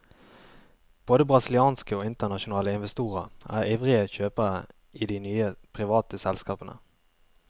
Både brasilianske og internasjonale investorer er ivrige kjøpere i de nye, private selskapene.